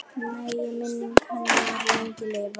Megi minning hennar lengi lifa.